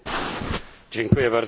Panie Przewodniczący!